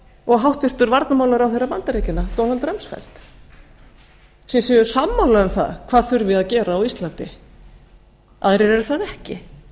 og háttvirtur varnarmálaráðherra bandaríkjanna donald rumsfeld þeir séu sammála um það hvað þurfi að gera á íslandi aðrir eru það ekki